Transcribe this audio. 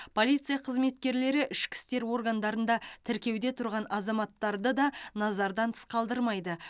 полиция қызметкерлері ішкі істер органдарында тіркеуде тұрған азаматтарды да назардан тыс қалдырмайды